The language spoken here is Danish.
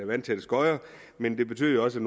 vandtætte skodder men det betød også